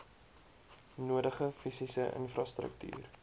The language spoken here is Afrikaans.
nodige fisiese infrastruktuur